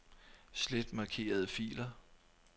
Slet markerede filer.